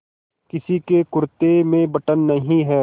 किसी के कुरते में बटन नहीं है